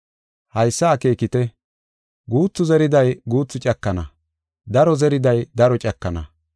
Haysa akeekite; guuthu zeriday guuthu cakana; daro zeriday daro cakana.